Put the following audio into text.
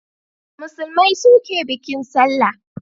Musulmai su ke bikin sallah